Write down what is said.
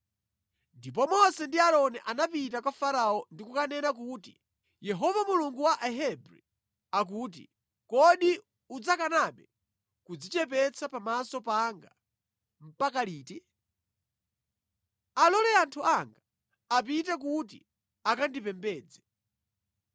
Ndipo Mose ndi Aaroni anapita kwa Farao ndi kukanena kuti, “Yehova Mulungu wa Ahebri, akuti: ‘Kodi udzakanabe kudzichepetsa pamaso panga mpaka liti? Alole anthu anga apite kuti akandipembedze.